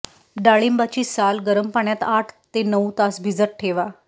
डाळिंबाची साल गरम पाण्यात आठ ते नऊ तास भिजत ठेवा